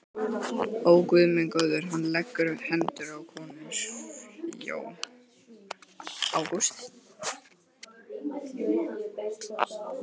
Ó, Guð minn góður, hann leggur hendur á konur.